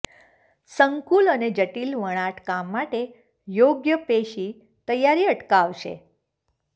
સંકુલ અને જટીલ વણાટ કામ માટે યોગ્ય પેશી તૈયારી અટકાવશે